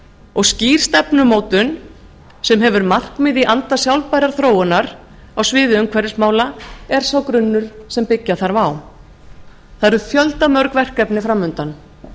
og skýr stefnumótun sem hefur markmið í anda sjálfbærrar þróunar á sviði umhverfismála er sá grunnur sem byggja þarf á það eru fjöldamörg verkefni fram undan